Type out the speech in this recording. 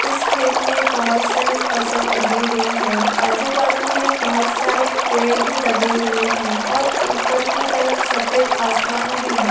इस खत में बहुत सारी फसल उगी हुई है | आजू बाजू में बहुत सारे पेड़ भी लगे हुए हैं और ऊपर की तरफ सफेद आसमान भी है।